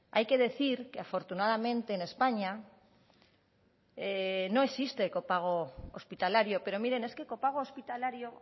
hay que decir que afortunadamente en españa no existe copago hospitalario pero miren es que copago hospitalario